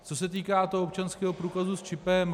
Co se týká toho občanského průkazu s čipem.